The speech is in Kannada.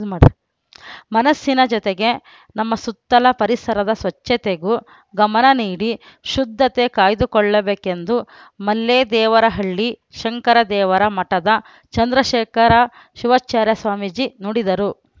ಮನಸ್ಸಿನ ಜೊತೆಗೆ ನಮ್ಮ ಸುತ್ತಲ ಪರಿಸರದ ಸ್ವಚ್ಛತೆಗೂ ಗಮನ ನೀಡಿ ಶುದ್ಧತೆ ಕಾಯ್ದುಕೊಳ್ಳಬೇಕೆಂದು ಮಲ್ಲೇದೇವರಹಳ್ಳಿ ಶಂಕರದೇವರ ಮಠದ ಚಂದ್ರಶೇಖರ ಶಿವಾಚಾರ್ಯ ಸ್ವಾಮೀಜಿ ನುಡಿದರು